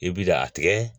I bi da a tigɛ